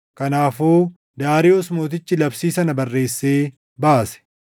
Kanaafuu Daariyoos mootichi labsii sana barreessee baase.